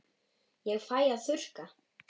Ég fæ að þurrka.